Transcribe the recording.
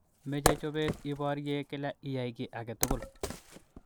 Meche chobet iborye kila iyai ki age tugul.